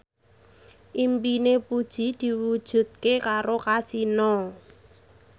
impine Puji diwujudke karo Kasino